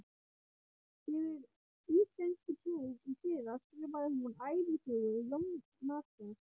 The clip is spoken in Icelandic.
Fyrir íslenskupróf í fyrra skrifaði hún ævisögu Jónasar